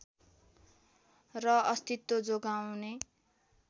र अस्तित्व जोगाउने